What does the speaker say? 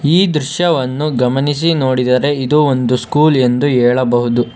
ಈ ದೃಶ್ಯವನ್ನು ಗಮನಿಸಿ ನೋಡಿದರೆ ಇದು ಒಂದು ಸ್ಕೂಲ್ ಎಂದು ಹೇಳಬಹುದು.